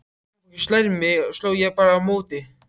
Ef mamma sló mig sló ég bara á móti.